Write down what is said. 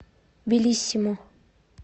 белиссимо